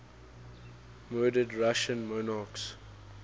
murdered russian monarchs